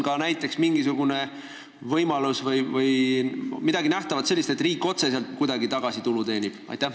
Kas on ka mingisugune võimalus, et riik teenib otseselt kuidagi tulu tagasi?